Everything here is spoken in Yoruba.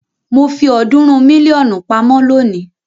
Mo fi ọ̀ọ́dúnrún mílíọ̀nù pamọ́ lónìí.